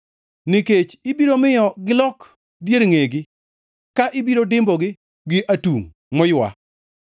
nikech ibiro miyo gilok dier ngʼegi ka ibiro dimbogi gi atungʼ moywa.